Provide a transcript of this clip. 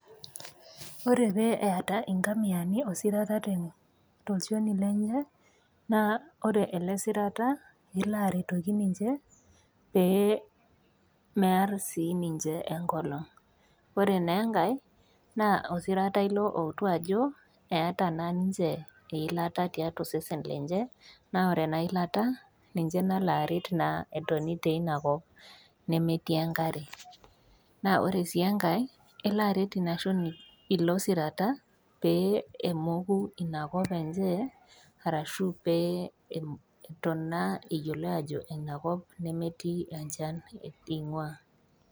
Ore pee eata inkamiani osirata tolchoni lenye naa ore ele sirata elo aretoki ninche pee mear sii ninche enkolong'. Ore naa enkai naa osirata ilo outu ajo, eata naa ninche eilata tiatua osesen lenche, naa ore ena ilata ninye naa nalo aret pee etoni teina kop nemetii enkare, naa oree sii enkai naa elo aret ina shoni, ilo sirata pee emoku inakop enye pee eyioloi ajo ina kop nemetii enchan eing'waa.